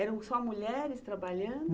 Eram só mulheres trabalhando?